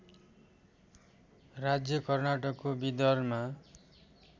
राज्य कर्नाटकको विदरमा